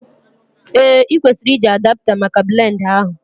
Ee, ị kwesịrị iji Adapta maka blend a ahụ